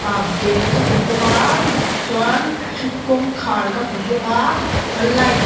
ah bag ka hmu bawk a chuan kawngkhar ka hmu bawk a light